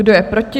Kdo je proti?